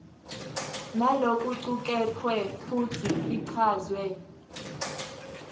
nalokucuketfwe futsi ichazwe